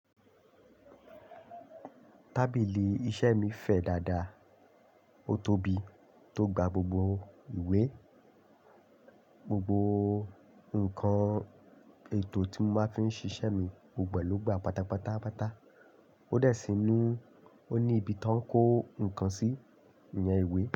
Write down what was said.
Tábìlì iṣẹ́ mi fẹ̀ dáadáa, ó tóbi tó gba gbogbo ìwé. Gbogbo nǹkan ètò tí mo máa ń fi ń ṣiṣẹ́ mi gbogbo ló gba pátápátá. Ó dẹ̀ sínu, ó ní ibi tó ń kó nǹkan sí ìyẹn ìwé.